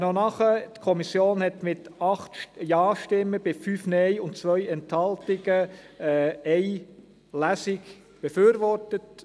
Ein Nachtrag: Die Kommission hat mit 8 Ja zu 5 Nein bei 2 Enthaltungen eine einzige Lesung befürwortet.